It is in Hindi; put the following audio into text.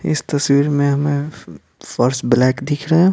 इस तस्वीर में हमें फ फर्स्ट ब्लैक दिख रहा है।